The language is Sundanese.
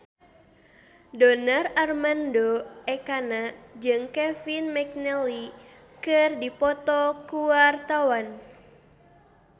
Donar Armando Ekana jeung Kevin McNally keur dipoto ku wartawan